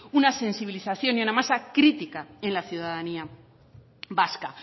una sensibilización y una masa crítica en la ciudadanía vasca